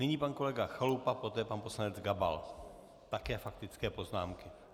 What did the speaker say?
Nyní pan kolega Chalupa, poté pan poslanec Gabal - také faktické poznámky.